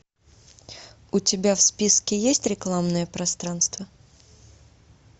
у тебя в списке есть рекламное пространство